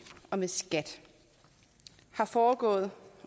og med skat er foregået